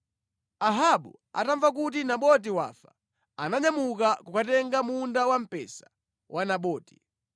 Ahabu atamva kuti Naboti wafa, ananyamuka kukatenga munda wamphesa wa Naboti.